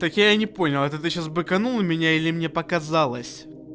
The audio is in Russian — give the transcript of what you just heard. так я и не понял это ты сейчас быканул на меня или мне показалось